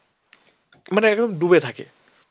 মানে একদম ডুবে থাকে.